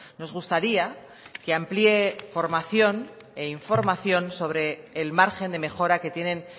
nos gustaría que amplíe formación e información sobre el margen de mejora que tienen